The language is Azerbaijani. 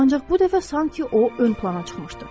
Ancaq bu dəfə sanki o ön plana çıxmışdı.